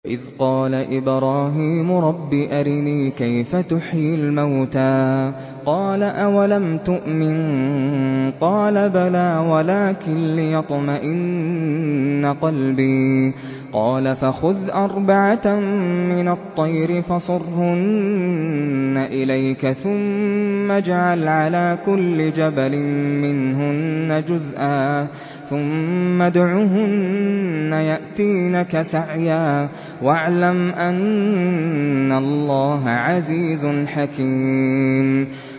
وَإِذْ قَالَ إِبْرَاهِيمُ رَبِّ أَرِنِي كَيْفَ تُحْيِي الْمَوْتَىٰ ۖ قَالَ أَوَلَمْ تُؤْمِن ۖ قَالَ بَلَىٰ وَلَٰكِن لِّيَطْمَئِنَّ قَلْبِي ۖ قَالَ فَخُذْ أَرْبَعَةً مِّنَ الطَّيْرِ فَصُرْهُنَّ إِلَيْكَ ثُمَّ اجْعَلْ عَلَىٰ كُلِّ جَبَلٍ مِّنْهُنَّ جُزْءًا ثُمَّ ادْعُهُنَّ يَأْتِينَكَ سَعْيًا ۚ وَاعْلَمْ أَنَّ اللَّهَ عَزِيزٌ حَكِيمٌ